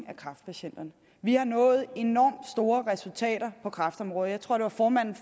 af kræftpatienterne vi har nået enormt store resultater på kræftområdet jeg tror det var formanden